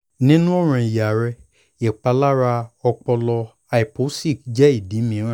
ninu ọran iya rẹ ipalara ọpọlọ hypoxic jẹ idi miiran